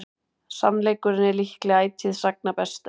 sannleikurinn er líklega ætíð sagna bestur